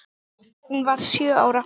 Hún varð sjö ára.